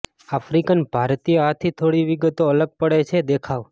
African ભારતીય હાથી થોડી વિગતો અલગ પડે છે દેખાવ